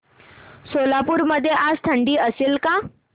सोलापूर मध्ये आज थंडी असेल का